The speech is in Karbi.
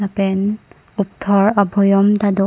pen upthor abhoyom ta do.